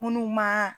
Munnu ma